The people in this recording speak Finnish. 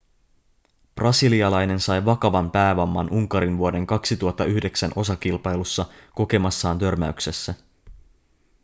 brasilialainen sai vakavan päävamman unkarin vuoden 2009 osakilpailussa kokemassaan törmäyksessä